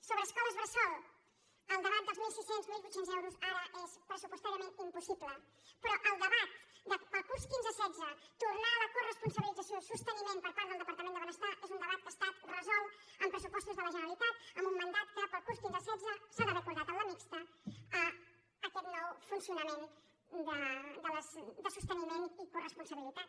sobre escoles bressol el debat dels mil sis cents mil vuit cents euros ara és pressupostàriament impossible però el debat per al curs quinze·setze tornar a la coresponsabilització i sosteni·ment per part del departament de benestar és un de·bat que ha estat resolt en pressupostos de la generali·tat amb un mandat que per al curs quinze·setze s’ha d’haver acordat en la mixta aquest nou funcionament de soste·niment i coresponsabilitat